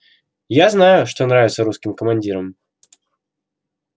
я знаю что нравится русским командирам